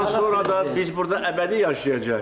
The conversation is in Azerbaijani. Bundan sonra da biz burda əbədi yaşayacağıq.